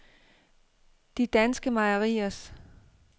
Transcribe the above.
De Danske Mejeriers